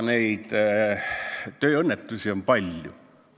Kuid tööõnnetusi on palju.